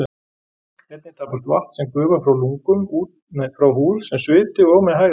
Einnig tapast vatn sem gufa frá lungum, frá húð sem sviti og með hægðum.